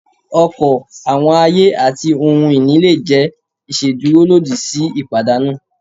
ọkọ, awọn aye, ati ohun ini le jẹ iṣeduro lodi si ipadanu.